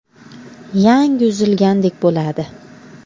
Yangi uzilgandek bo‘ladi.